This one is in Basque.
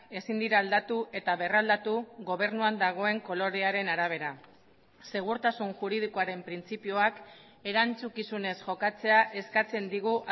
ezin dira aldatu eta berraldatu gobernuan dagoen kolorearen arabera segurtasun juridikoaren printzipioak erantzukizunez jokatzea eskatzen digu